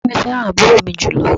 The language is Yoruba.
Bàbá mi fẹ́ràn àbúrò mi jùlọ